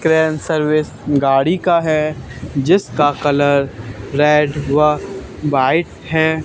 Crane service गाड़ी का है जिसका कलर रेड व व्हाइट है।